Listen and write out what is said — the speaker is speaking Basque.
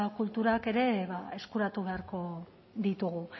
kulturak ere ba eskuratu beharko ditugu